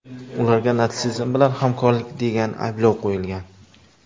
Ularga natsizm bilan hamkorlik degan ayblov qo‘yilgan.